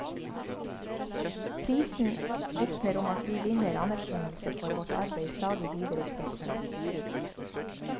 Prisen vitner om at vi vinner anerkjennelse for vårt arbeid i stadig videre kretser.